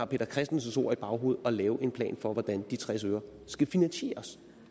peter christensens ord i baghovedet at lave en plan for hvordan de tres øre skal finansieres